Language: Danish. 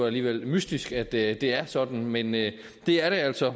alligevel er mystisk at det er sådan men det er altså